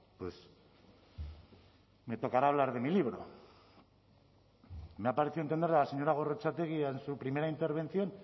pues me tocará hablar de mi libro me ha parecido entenderle a la señora gorrotxategi en su primera intervención